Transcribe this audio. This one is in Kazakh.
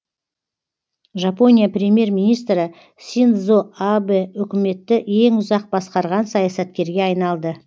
жапония премьер министрі синдзо абэ үкіметті ең ұзақ басқарған саясаткерге айналды